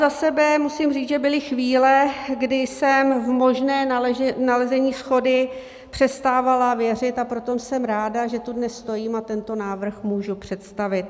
Za sebe musím říct, že byly chvíle, kdy jsem v možné nalezení shody přestávala věřit, a proto jsem ráda, že tu dnes stojím a tento návrh můžu představit.